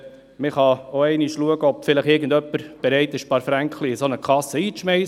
Man kann schauen, ob irgendjemand bereit ist, ein paar Fränkli in eine solche Kasse einzuschiessen.